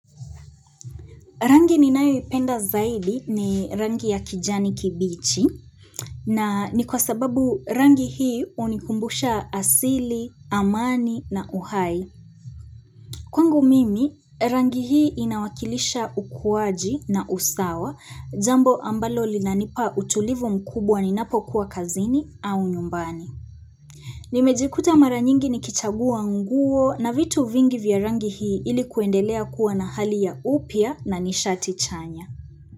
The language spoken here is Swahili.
Rangi ninayoipenda zaidi ni rangi ya kijani kibichi na ni kwa sababu rangi hii hunikumbusha asili amani na uhai Kwangu mimi rangi hii inawakilisha ukuwaji na usawa jambo ambalo linanipa utulivu mkubwa ninapokuwa kazini au nyumbani Nimejikuta mara nyingi nikichagua nguo na vitu vingi vya rangi hii ili kuendelea kuwa na hali ya upya na nishati chanya.